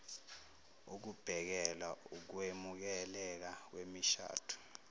ukubhekelwa ukwemukeleka kwemishado